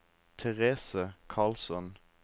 Therese Karlsson